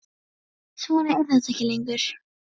Svona er þetta ekki lengur.